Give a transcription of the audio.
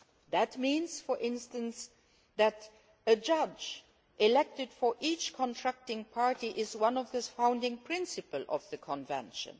That means, for instance, that a judge elected for each contracting party is one of the founding principles of the Convention.